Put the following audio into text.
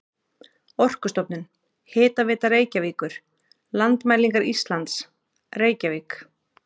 Orkustofnun, Hitaveita Reykjavíkur, Landmælingar Íslands, Reykjavík.